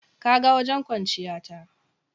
Ka ga wajen kwanciya ta.